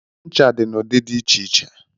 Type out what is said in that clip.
Ncha dị na ụdị dị iche iche.